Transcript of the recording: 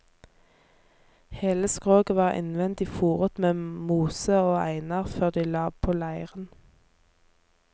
Hele skroget var innvendig foret med mose og einer før de la på leiren.